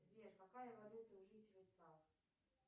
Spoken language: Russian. сбер какая валюта у жителей цар